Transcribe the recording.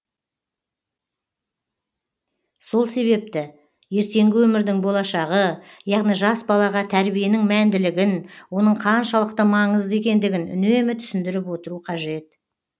сол себепті ертеңгі өмірдің болашағы яғни жас балаға тәрбиенің мәнділігін оның қаншалықты маңызды екендігін үнемі түсіндіріп отыру қажет